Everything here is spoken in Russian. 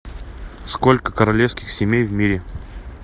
сколько королевских семей в мире